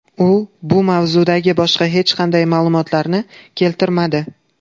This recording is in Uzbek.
U bu mavzudagi boshqa hech qanday ma’lumotlarni keltirmadi.